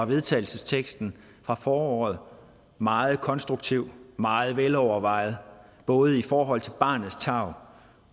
vedtagelsesteksten fra foråret meget konstruktiv meget velovervejet både i forhold til barnets tarv